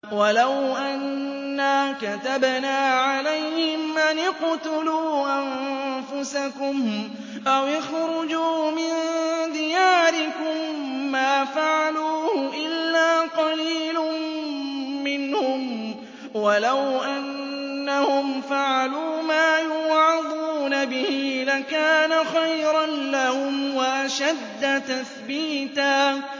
وَلَوْ أَنَّا كَتَبْنَا عَلَيْهِمْ أَنِ اقْتُلُوا أَنفُسَكُمْ أَوِ اخْرُجُوا مِن دِيَارِكُم مَّا فَعَلُوهُ إِلَّا قَلِيلٌ مِّنْهُمْ ۖ وَلَوْ أَنَّهُمْ فَعَلُوا مَا يُوعَظُونَ بِهِ لَكَانَ خَيْرًا لَّهُمْ وَأَشَدَّ تَثْبِيتًا